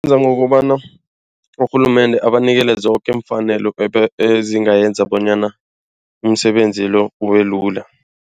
Isiza ngokobana urhulumende abanikele zoke iimfanelo ezingayenza bonyana umsebenzi lo ubelula.